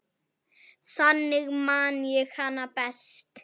Þannig man ég hana best.